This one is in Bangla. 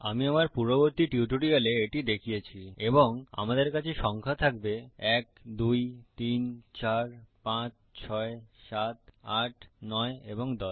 আমি আমার পূর্ববর্তী টিউটোরিয়ালে এটি দেখিয়েছি এবং আমাদের কাছে সংখ্যা থাকবে 1 2 3 4 5 6 7 8 9 ও 10